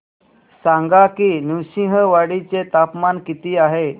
सांगा की नृसिंहवाडी चे तापमान किती आहे